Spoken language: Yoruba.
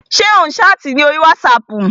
Ṣé ò ń ṣáàtì ní orí wátísapù ni?